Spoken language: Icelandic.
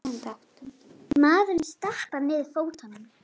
Maðurinn stappar niður fótunum.